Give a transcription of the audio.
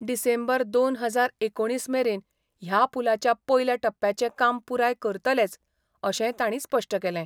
डिसेंबर दोन हजार एकोणीस मेरेन ह्या पुलाच्या पयल्या टप्प्याचे काम पुराय करतलेच, अशेंय तांणी स्पश्ट केलें.